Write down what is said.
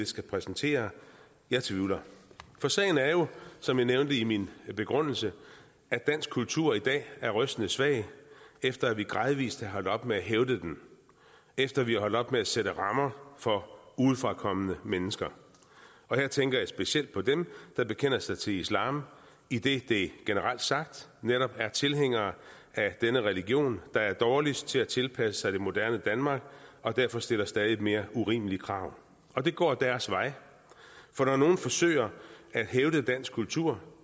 skal præsentere jeg tvivler for sagen er jo som jeg nævnte i min begrundelse at dansk kultur i dag er rystende svag efter at vi gradvis er holdt op med at hævde den efter at vi er holdt op med at sætte rammer for udefrakommende mennesker her tænker jeg specielt på dem der bekender sig til islam idet det generelt sagt netop er tilhængere af denne religion der er dårligst til at tilpasse sig det moderne danmark og derfor stiller stadig mere urimelige krav og det går deres vej for når nogle forsøger at hævde dansk kultur